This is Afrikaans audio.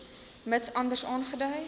mits anders aangedui